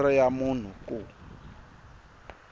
hi nomboro ya munhu ku